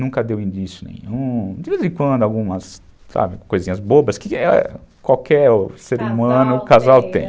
Nunca deu indício nenhum, de vez em quando algumas, sabe, coisinhas bobas, que qualquer ser humano, casal tem.